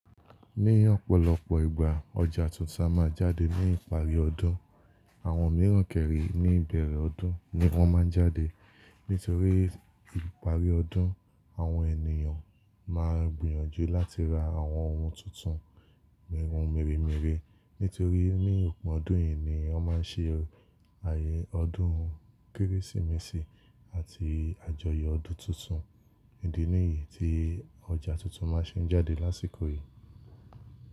Ní ọ̀pọ̀lọpọ̀ ìgbà, ọjà tuntun a máa jáde ní ìparí ọdún. Àwọn mìíràn kẹ̀rè ní ìbẹ̀rẹ̀ ọdún ni wọ́n máa ń jáde. Nítorí ìparí ọdún, àwọn ènìyàn ma gbìyànjú láti ra àwọn ohun tuntun mirun mirimiri. Nítorí ní òpin ọdún yìí ni wọ́n máa ń ṣe ààyè ọdún Kérésìmesì àti àjọyọ̀ ọdún tuntun. Idí nìyí tí ọjà tuntun máa ṣe ń jáde lásìkò yìí.